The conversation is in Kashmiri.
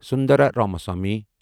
سندرا رامسوامی